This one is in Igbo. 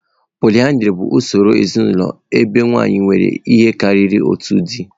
Pọlyndrị bụ usoro ezinụlọ ebe nwanyị nwere ihe karịrị otu di.